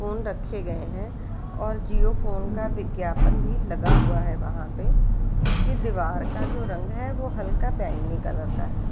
Phone रखे गए है और जियो फ़ोन का विज्ञापन भी लगा हुआ है वहाँ पे उसके दिवार का जो रंग है वो हल्का बैगनी कलर का है ।